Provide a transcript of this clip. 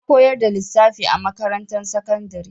Na koyar da lissafi a makarantar sakandari.